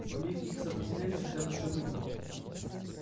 сломив их сопротивление хотя бы в чем-нибудь